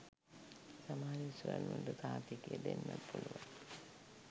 සමහර විෂුවල් වලට සහතිකය දෙන්නත් පුළුවන්